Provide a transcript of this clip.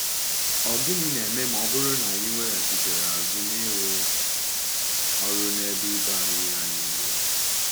Ọ̀ gịnị ga-eme ma ọ bụrụ na anyị weghachitere azụ n’ịrụ “ọrụ n’ebe ibe anyị anyị nọ”?